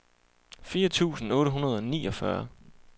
fire tusind otte hundrede og niogfyrre